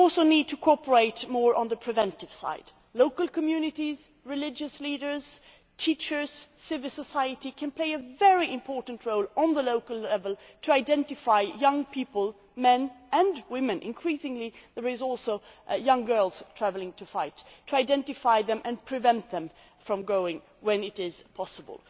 We also need to cooperate more on the preventive side. Local communities, religious leaders, teachers, civil society can play a very important role at local level to identify young people, young men and women increasingly there are also young girls travelling to fight to identify them and prevent them from going when it is possible.